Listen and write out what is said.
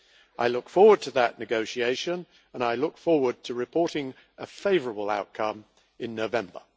I look forward to that negotiation and I look forward to reporting a favourable outcome in November.